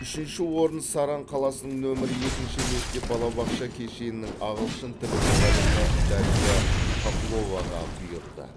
үшінші орын саран қаласының нөмірі екінші мектеп балабақша кешенінің ағылшын тілі мұғалімі дарья хохловаға бұйырды